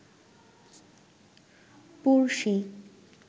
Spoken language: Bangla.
পরশী